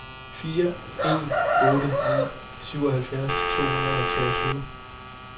fire en otte ni syvoghalvfjerds to hundrede og treogtyve